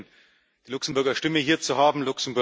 Es ist gut, die Luxemburger Stimme hier zu haben.